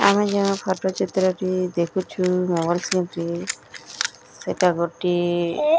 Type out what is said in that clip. ଆମେ ଯେଉଁ ଫଟୋ ଚିତ୍ର ଟି ଦେଖୁଛୁ ସେଟା ଗୋଟେ --